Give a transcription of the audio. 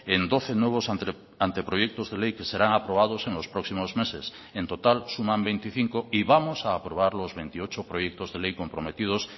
en doce nuevos anteproyectos de ley que serán aprobados en los próximos meses en total suman veinticinco y vamos a aprobar los veintiocho proyectos de ley comprometidos